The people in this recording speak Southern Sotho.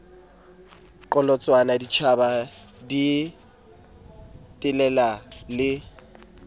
qholotsanwa ditjhaba di telela le